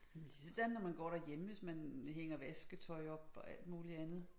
Men ligesådan når man går derhjemme hvis man hænger vasketøj op og alt muligt andet